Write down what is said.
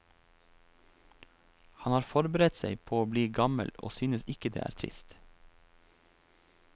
Han har forberedt seg på å bli gammel og synes ikke det er trist.